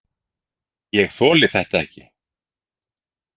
Ég þoli þetta ekki.